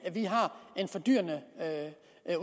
vi har en fordyrende